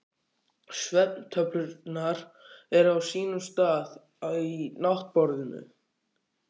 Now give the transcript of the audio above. Svefntöflurnar eru á sínum stað í náttborðinu.